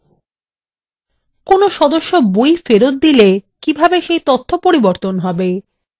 কোনো সদস্য বই ফেরত দিলে কিভাবে সেই তথ্য পরিবর্তন হবে